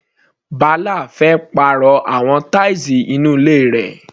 Bala fẹ́ pàrọ̀ àwọn tiles inú ilé rẹ̀.